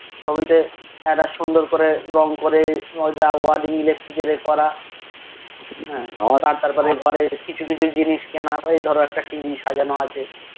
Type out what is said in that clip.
ছবিতে একটা সুন্দর করে রং করে রোজা ওয়ান্দেগী Electric করা হে আমার তো আটটার পরে কিছু জিনিস কিনা এই ধরো একটা TV সাজানো আছে